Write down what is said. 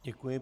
Děkuji.